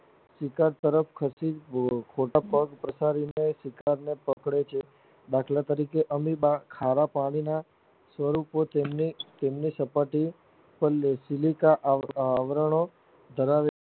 શિકાર તરફ ખસી ખોટા પગ પ્રસારીને શિકારને પકડે છે દાખલા તરીકે અમીબા ખારા પાણીના સ્વરૂપો તેમની તેમની સપાટી પર ના સિલકા આવ આવરણો ધરાવે